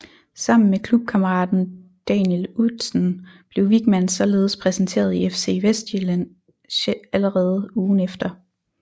Sammen med klubkammeraten Daniel Udsen blev Wichmann således præsenteret i FC Vestsjælland allerede ugen efter